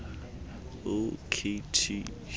o k t